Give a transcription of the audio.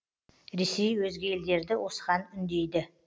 ресей өзге елдерді осыған үндейді